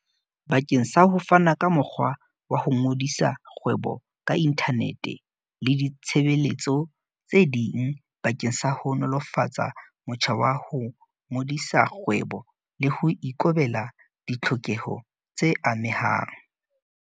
bakeng sa ho fana ka mokgwa wa ho ngodisa kgwebo ka inthanete le ditshebeletso tse ding bakeng sa ho nolofatsa motjha wa ho ngodisa kgwebo le ho ikobela ditlhokeho tse amehang.